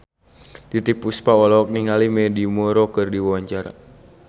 Titiek Puspa olohok ningali Mandy Moore keur diwawancara